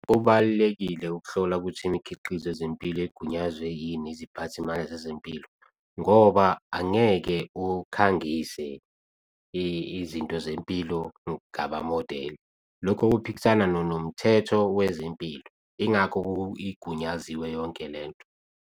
Kubalulekile ukuhlola ukuthi imikhiqizo yezempilo igunyaziwe yini iziphathimandla zezempilo, ngoba angeke ukhangise izinto zempilo. Kungaba modeli lokho kuphikisana nokomthetho wezempilo, yingakho igunyaziwe yonke lento.